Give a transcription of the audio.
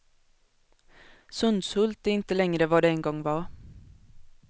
Sundshult är inte längre vad det en gång var.